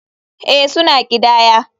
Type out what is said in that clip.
Ee, suna ƙidaya.